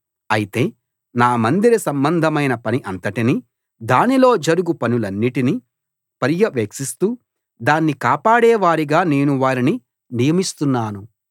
అయితే నా మందిర సంబంధమైన పని అంతటిని దానిలో జరుగు పనులన్నిటిని పర్యవేక్షిస్తూ దాన్ని కాపాడేవారిగా నేను వారిని నియమిస్తున్నాను